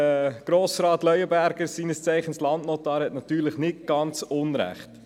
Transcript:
Grossrat Leuenberger, seines Zeichens Landnotar, hat natürlich nicht ganz unrecht.